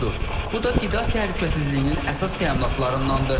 Bu da qida təhlükəsizliyinin əsas təminatlarındanıdr.